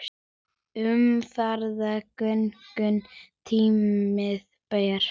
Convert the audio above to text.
Umferð gegnum túnið ber.